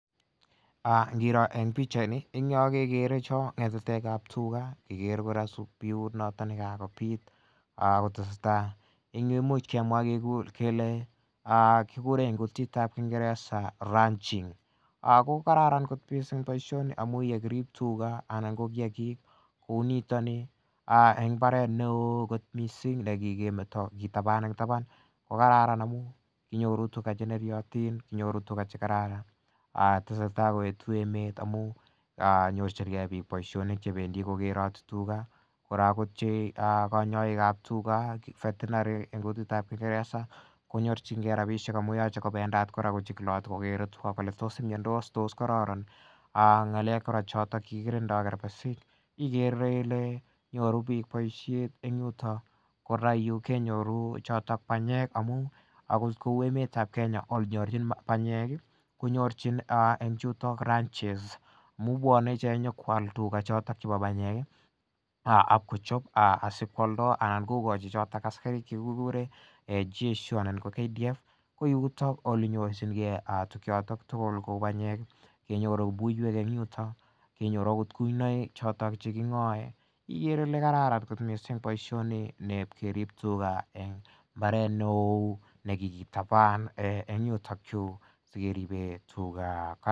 Ngiro en pichait ni kekere choon ng'atatekab tuga , koigere kora biuut noton nekakobit ako tesetai, ingemuch kemwa ak kele kikuren en kutitab kingereza ranching Ako kararan kot boision amuun yekirib tuga anan ko kiagik kou nito ni en imbaret neoo kot missing nekikemeto kitaban en taban kokraran amuun kinyoru tuga cheneriatin , kinyoru tuga chekaran kotesetai koetu emeet amuun nyorchike bik boisionik chekerati tuga ih ak kanyaikab tuga veterinary konyorchike rabisiek amuun yache kobendat kochikilate kokere kole ng'alek kora ikere Ile nyoru bik baishet kora yu kenyoru yoton banyek amuun uu emeetab Kenya banyek ih , konyorchike. Amuun bwanee ichek ak tuga choton chebo panyek ih akwochob asi koalda kokachi choto asikarik general service unit anan Kenya defense force ko chutik ko olenyorchike tuguk tugul kouu banyek kenyoru muiwek en yuton kenyoru akot kuinaik chekinga'ae ikere Ile kararan kot baishoni en kerib tuga en mbaret neoo nekikitaban keriben tuga .